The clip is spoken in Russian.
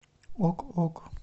ок ок